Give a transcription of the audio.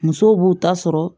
Musow b'u ta sɔrɔ